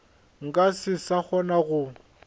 nka se sa kgona go